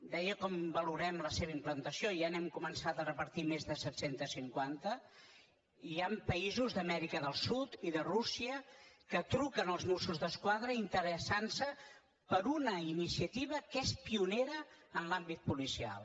deia com valorem la seva implantació ja n’hem començat a repartir més de set cents i cinquanta i hi han països d’amèrica del sud i de rússia que truquen als mossos d’esquadra interessant se per una iniciativa que és pionera en l’àmbit policial